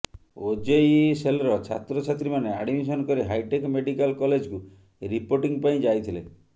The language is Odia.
ଓଜେଇଇ ସେଲ୍ରେ ଛାତ୍ରଛାତ୍ରୀମାନେ ଆଡମିଶନ କରି ହାଇଟେକ ମେଡିକାଲ କଲେଜକୁ ରିପୋର୍ଟିଂ ପାଇଁ ଯାଇଥିଲେ